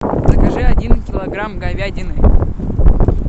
закажи один килограмм говядины